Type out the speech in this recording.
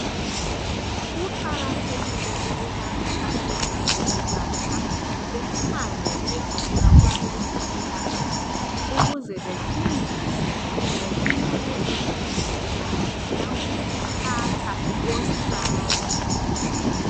kuqakathekile ukubana abazali abatsha bahambe beyefika kwabezempilakahle ukuze befundiswe ngokunakekela kanye langokuphatha usane